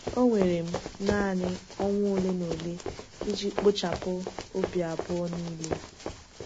Ọ were m naanị ọnwa ole na ole iji kpochapụ obi abụọ niile.